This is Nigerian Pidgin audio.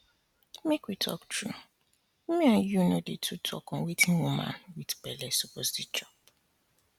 make we talk true me and you no um too dey talk on wetin woman with belle suppose dey chop